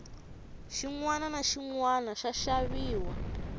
xinwana na xinwana xa xaviwa